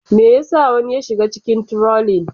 Me yasa wani ya shiga cikin trolling?